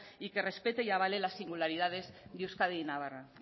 y que respete y avale la singularidades de euskadi y navarra